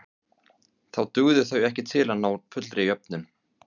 Þá dugðu þau ekki til að ná fullri jöfnun.